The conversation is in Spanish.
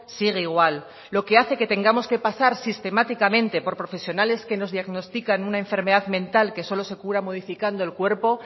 sigue igual lo que hace que tengamos que pasar sistemáticamente por profesionales que nos diagnostican una enfermedad mental que solo se cura modificando el cuerpo